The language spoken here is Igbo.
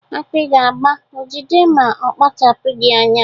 Akpị ga-agba Ojide ma ọ kpachapụgị anya.